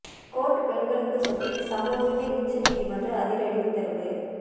court பெண்களுக்கு சொத்தில் சம உரிமை உச்ச நீதிமன்றம் அதிரடி உத்தரவு